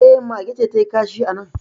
E, mage ce ta yi kashi a nan